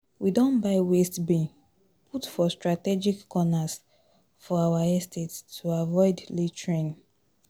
We don buy waste bin put for strategic corners for our estate to avoid littering